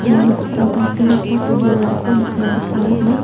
ia noksao tangsekgipa sam bolrangko nikna gita man·a.